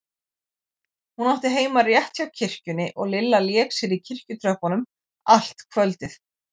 Hún átti heima rétt hjá kirkjunni og Lilla lék sér í kirkjutröppunum allt kvöldið.